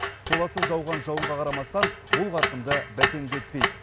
толассыз жауған жауынға қарамастан бұл қарқынды бәсеңдетпейді